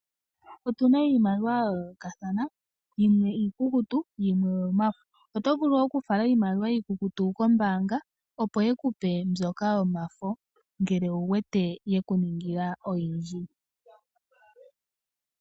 Otuna iimaliwa ya yoolokathana yimwe iikukutu yimwe oyo mafo. Oto vulu oku fala iimaliwa iikukutu kombaanga opo ye kupe mbyoka yomafo ngele owu wete yeku ningila oyindji.